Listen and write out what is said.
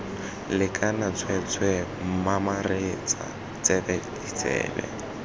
lekana tsweetswee mamaretsa tsebe ditsebe